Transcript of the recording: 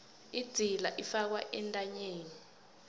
idzila ifakwa entanyeni